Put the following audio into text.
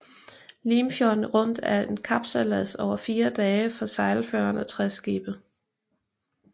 Limfjorden Rundt er en kapsejlads over fire dage for sejlførende træskibe